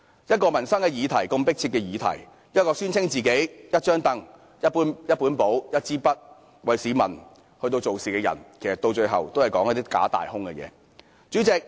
一個如此迫切的民生議題，一個聲稱會用"一張櫈、一本簿、一支筆"為市民做事的人，到了最後也不過是說些"假大空"的話。